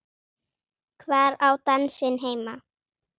Hvar á dansinn heima?